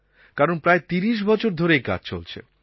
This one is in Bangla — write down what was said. কারণ প্রায় ৩০ বছর ধরে এই কাজ চলছে